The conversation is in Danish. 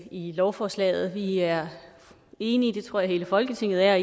i lovforslaget vi er enige i det tror jeg hele folketinget er